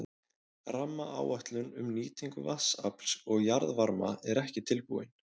Rammaáætlun um nýtingu vatnsafls og jarðvarma er ekki tilbúin.